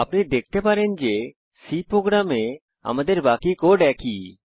আপনি দেখতে পারেন যে C প্রোগ্রামে আমাদের বাকি কোড একই